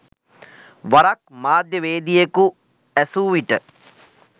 වරක් මාධ්‍යවේදියෙකු ඇසූ විට